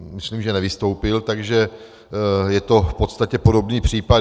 Myslím, že nevystoupil, takže je to v podstatě podobný případ.